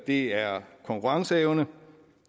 det er konkurrenceevne